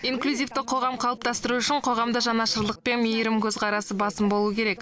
инклюзивті қоғам қалыптастыру үшін қоғамда жанашырлық пен мейірім көзқарасы басым болуы керек